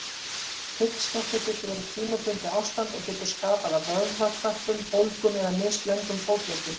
Hryggskekkja getur verið tímabundið ástand og getur stafað af vöðvakrömpum, bólgum eða mislöngum fótleggjum.